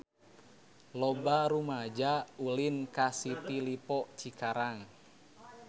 Loba rumaja ulin ka City Lippo Cikarang